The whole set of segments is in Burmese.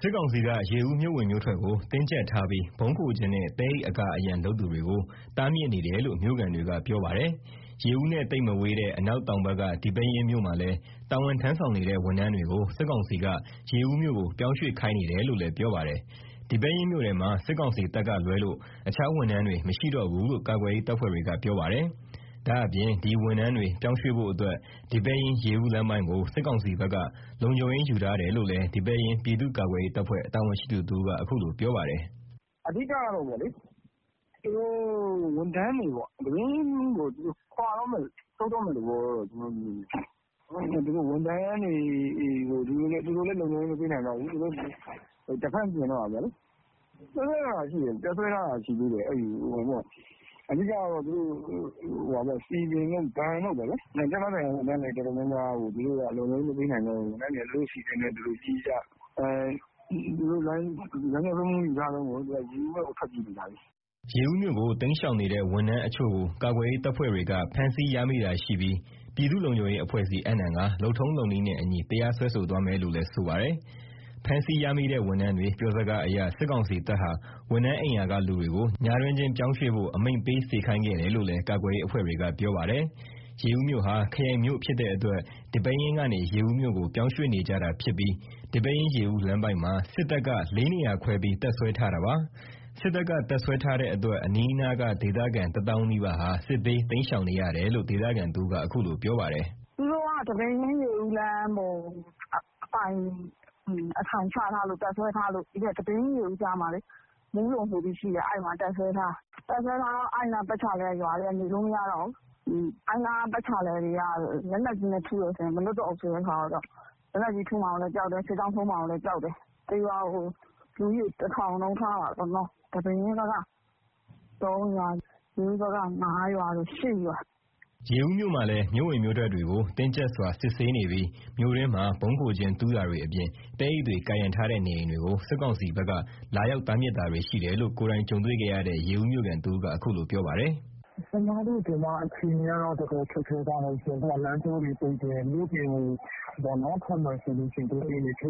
စစ်ကောင်စီက ရေဦး မြို့ဝင်မြို့ထွက်ကို တင်းကြပ်ထားပြီး ဗုံးခိုကျင်းနဲ့ သဲအိတ်အကာအရံ လုပ်သူတွေကို တားမြစ်နေတယ်လို့ မြို့ခံတွေက ပြောပါတယ်။ ရေဦးနဲ့သိပ်မဝေးတဲ့ အနောက် တောင်ဘက်က ဒီပဲယင်းမြို့မှာလည်း တာဝန်ထမ်းဆောင်နေတဲ့ ဝန်ထမ်းတွေကို စစ်ကောင်စီက ရေဦးမြို့ကို ပြောင်းရွှေ့ခိုင်းနေတယ်လို့လည်း ပြောပါတယ်။ ဒီပဲယင်းမြို့ထဲမှာ စစ်ကောင်စီတပ်ကလွဲလို့ အခြားဝန်ထမ်းတွေမရှိတော့ဘူးလို့ ကာကွယ်ရေးတပ်ဖွဲ့တွေက ပြောပါတယ်။ ဒါ့အပြင် ဒီဝန်ထမ်းတွေ ပြောင်းရွှေဖို့အတွက် ဒီပဲယင်း-ရေဦးလမ်းပိုင်းကို စစ်ကောင်စီဘက်က လုံခြုံရေးယူထားတယ်လို့လည်း ဒီပဲယင်း ပြည်သူ့ ကာကွယ်ရေးတပ်ဖွဲ့ တာဝန်ရှိသူတဦးက အခုလို ပြောပါတယ်။ “အဓိက က သူတို့ ဝန်ထမ်းတွေပေါ့။ ဒီပဲယင်းမြို့ကို ခွါတော့မယ်၊ ဆုတ်တော့မယ့် သဘောတော့ရှိတယ်။ ဝန်ထမ်းတွေကို သူတို့လည်း လုံခြုံရေးမပေးနိုင်တော့ဘူး။ Defense ပြင်တော့တာပေါ့လေ။ စစ်တပ်က တပ်စွဲထားတာက ရှိသေးတယ်။ အဓိက-က စည်ပင်တို့ ဘဏ်တို့ပေါ့ဗျာ။ ဌာနဆိုင်ရာဝန်ထမ်း တော်တော်များများကို လုံခြုံရေးမပေးနိုင်တော့ဘူး။ ဝန်ထမ်းတွေက သူတို့အစီအစဉ်နဲ့ သူတို့ပြေးကြ၊ သူတို့လမ်းကြောင်း လုံံခြုံရေးယူထားတုန်းကို ရေဦးဘက်ကို ထွက်ပြေးနေကြပြီ။” ရေဦးမြို့ကို တိမ်းရှောင်နေတဲ့ ဝန်ထမ်းအချို့ကို ကာကွယ်ရေးတပ်ဖွဲ့တွေက ဖမ်းဆီးရမိတာရှိပြီး ပြည်သူ့လုံခြုံရေးအဖွဲ့ဆီ အပ်နှံကာ လုပ်ထုံးလုပ်နည်းနဲ့အညီ တရားစွဲဆိုသွားမယ်လို့လည်း ဆိုပါတယ်။ ဖမ်းဆီးရမိတဲ့ဝန်ထမ်းတွေပြောစကားအရ စစ်ကောင်စီတပ်ဟာ ဝန်ထမ်းအိမ်ရာက လူတွေကို ညတွင်းချင်း ပြောင်းရွှေ့ဖို့ အမိန့်ပေးစေခိုင်းခဲ့တယ်လို့လည်း ကာကွယ်ရေးအဖွဲ့တွေက ပြောပါတယ်။ ရေဦးမြို့ဟာ ခရိုင်မြို့ဖြစ်တဲ့အတွက် ဒီပဲယင်းကနေ ရေဦးမြို့ကို ပြောင်းရွှေ့နေကြတာဖြစ်ပြီး ဒီပဲယင်း-ရေဦးလမ်းပိုင်းမှာ စစ်တပ်က ၄ နေရာခွဲပြီး တပ်စွဲထားတာပါ။ စစ်တပ်က တပ်စွဲထားတဲ့အတွက် အနီးနားက ဒေသခံတသောင်းနီးပါးဟာ စစ်ဘေးတိမ်းရှောင်နေရတယ်လို့ ဒေသခံတဦးက အခုလို ပြောပါတယ်။ “သူတို့က ဒီပဲယင်း - ရေဦးလမ်းကို အပိုင်အထိုင်ချတပ်စွဲထားလို့ ဒီပဲယင်း -ရေဦးလမ်းမှာ မူးတုံဆိုပြီး ရှိတယ်။ အဲ့မှာ တပ်စွဲထားတာ။ တပ်စွဲထားတော့ အဲ့နားပတ်ချာလည်က ရွာတွေက နေလို့မရတော့ဘူး။ အဲ့နား ပတ်ချာလည်က လက်နက်ကြီးနဲ့ထုရင် မလွတ်တော့ဘူးဆိုတော့ လက်နက်ကြီးထုမှာလည်း ကြောက်တယ်။ စစ်ကြောင်းထိုးမှာလည်းကြောက်တယ်။ တရွာကို လူဦးရေတထောင် နှုန်းထားပါတော့နော်။ ဒီပဲယင်းဘက်က ၃ ရွာ။ ရေဦးဘက်က ၅ ရွာ- ၈ ရွာပေါ့။” ရေဦးမြို့မှာလည်း မြို့ဝင်မြို့ထွက်တွေကို တင်းကြပ်စွာ စစ်ဆေးနေပြီး မြို့တွင်းမှာ ဗုံးခိုကျင်း တူးတာတွေအပြင် သဲအိတ်တွေကာရံထားတဲ့ နေအိမ်တွေကို စစ်ကောင်စီဘက်က လာရောက်တားမြစ်တာတွေရှိတယ်လို့ ကိုယ်တိုင်ကြုံတွေ့ခဲ့ရတဲ့ ရေဦးမြို့ခံတဦးက အခုလို ပြောပါတယ်။ “ကျမတို့ဒီမှာ အခြေအနေက တော်တော်ခက်ခဲသွားတယ်။မြို့ပြင်ကိုထွက်မယ်ဆို အိမ်တွေကို ချိတ်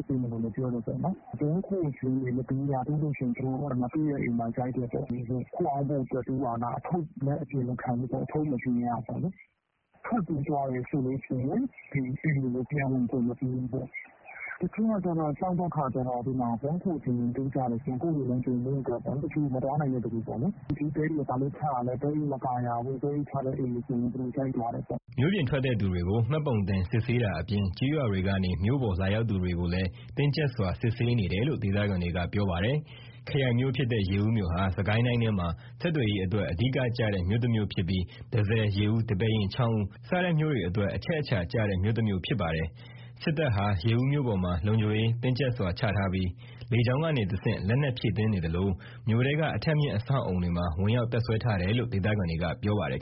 ပိတ်မယ်ပြောတယ်ပေါ့။ ဗုံးခိုကျင်းတွေ မတူးရဘူး၊ တူးတာတွေ့ရင် တွေ့တဲ့အိမ်တွေကို (ဓာတ်ပုံ) ရိုက်တယ်ပေါ့။ ခိုအောင်းဖို့အတွက် တူးတာလား။ (အဝတ်) ထုပ်လည်း အပြင်မခံဘူးပေါ့။ ထွက်ပြေးသွားတယ်ဆို အိမ်တွေကို ပြန်ဝင်ခွင့် မပေးဘူးပေါ့။ တချို့က ကြောက်တော့ ဗုံးခိုကျင်းတူးကြတယ်။ ကိုယ့်အိမ်မှာ ကိုယ်ပေါ့၊ မသွားနိုင်တဲ့သူတွေက သဲအိတ်တွေဘာလို့ချတာလည်း သဲအိတ်ချတဲ့အိမ်တွေဆို သူတို့က (ဓာတ်ပုံ) တွေ ရိုက်သွားတယ်ပေါ့။” မြို့ပြင်ထွက်တဲ့သူတွေကို မှတ်ပုံတင်စစ်ဆေးတာအပြင် ကျေးရွာတွေကနေ မြို့ပေါ်လာရောက်သူတွေကိုလည်း တင်းကြပ်စွာ စစ်ဆေးနေတယ်လို့ ဒေသခံတွေက ပြောပါတယ်။ ခရိုင်မြို့ဖြစ်တဲ့ ရေဦးမြို့ဟာ စစ်ကိုင်းတိုင်းထဲမှာ ဆက်သွယ်ရေးအတွက် အဓိကမြို့တမြို့ဖြစ်ပြီး တန့်ဆည်၊ ရေဦး၊ ဒီပဲယင်း၊ ချောင်းဦး စတဲ့မြို့တွေအတွက် အချက်အချာကျတဲ့ မြို့တမြို့ဖြစ်ပါတယ်။ စစ်တပ်ဟာ ရေဦးမြို့ပေါ်မှာ လုံခြုံရေးတင်းကြပ်စွာချထားပြီး လေကြောင်းကနေတဆင့် လက်နက် ဖြည့်တင်းနေသလို မြို့ထဲက အထပ်မြင့် အဆောက်အအုံတွေမှာ ဝင်ရောက်တပ်စွဲထားတယ်လို့လည်း ဒေသခံတွေက ပြောပါတယ်